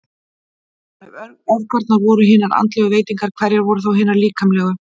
Ef öfgarnar voru hinar andlegu veitingar, hverjar voru þá hinar líkamlegu?